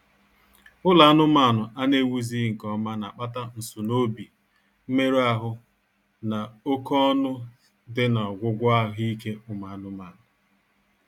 Ụlọ anụmaanụ a na-ewuzighị nkeọma na-akpata nsunoobi, mmerụ ahụ, na oké ọnụ dị n'ọgwụgwọ ahụ ike ụmụ anụmaanụ